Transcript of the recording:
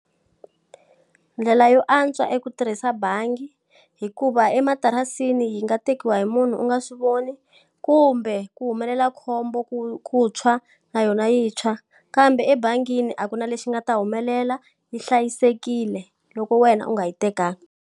Ndlela yo antswa i ku tirhisa bangi hikuva ematirasini yi nga tekiwa hi munhu u nga swi voni, kumbe ku humelela khombo ku tshwa na yona yi tshwa. Kambe ebangini a ku na lexi nga ta humelela, yi hlayisekile loko wena u nga yi tekanga.